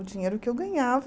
O dinheiro que eu ganhava...